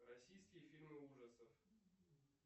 российские фильмы ужасов